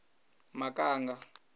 makanga